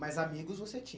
Mas amigos você tinha?